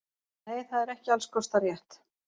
Nei það er ekki alls kostar rétt.